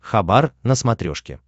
хабар на смотрешке